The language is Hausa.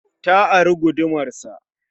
Ta ari gudumar sa.